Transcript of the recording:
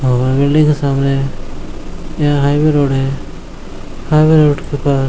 और बिल्डिंग से सामने यहाँ हाइवे रोड है हाइवे रोड के पास --